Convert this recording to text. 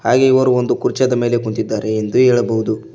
ಹಾಗೆ ಇವರು ಒಂದು ಕುರ್ಚಾದ ಮೇಲೆ ಕುಂತಿದ್ದಾರೆ ಎಂದು ಹೇಳಬಹುದು.